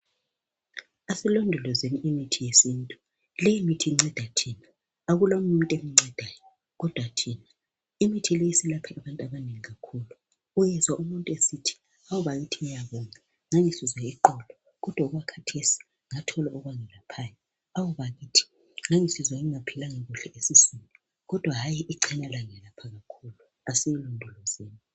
Asilondolozeni imithi yesintu. Leyimithi inceda thina akula omunye umuntu emncedayo kodwa thina. Imithi le isiyelaphe abantu abanengi kakhulu. Uyezwa umuntu esithi, "Awu bakithi ngiyabonga ngangisizwa iqolo kodwa okwakhathesi ngathola okwangelaphayo. Awu bakithi ngangisizwa ngingaphilanga kuhle esiswini kodwa hayi icena langelapha kakhulu. Asilondolozeni.